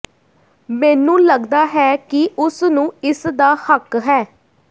ਮੈਨੂੰ ਲਗਦਾ ਹੈ ਕਿ ਉਸ ਨੂੰ ਇਸ ਦਾ ਹੱਕ ਹੈ